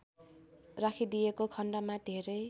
राखिदिएको खण्डमा धेरै